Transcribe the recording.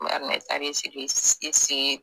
Bari ne taara i sigi i see